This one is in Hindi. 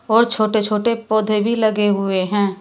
और छोटे छोटे पौधे भी लगे हुए हैं।